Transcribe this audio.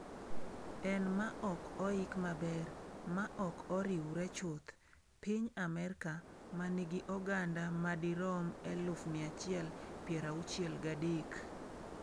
"En ""ma ok oik maber, ma ok oriwre chuth"" piny Amerka, ma nigi oganda madirom 163,000."